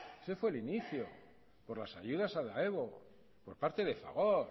ese fue el inicio por las ayudas a daewood por parte de fagor